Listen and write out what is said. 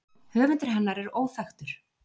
Höfundur hennar er óþekktur.